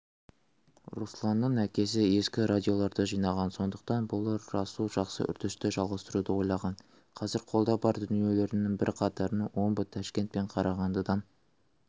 русланның әкесі ескі радиоларды жинаған сондықтан болар расул жақсы үрдісті жалғастыруды ойлаған қазір қолда бар дүниелерінің бірқатарын омбы ташкент пен қарағандыдан